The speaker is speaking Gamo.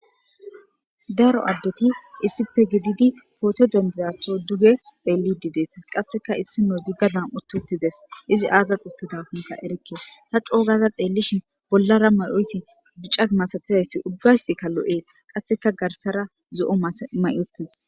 Daaro addeti issipe gididi pohoto dendizatho duge xeellidi deetas qasseka issinozi gadan utti utides izi aazas uttidakonka erekke ta coo gada xeellishin bollara may7oyssi bicca masatizayssi ubbayska lo7ees qasseka garsara zo7o mayi uttides.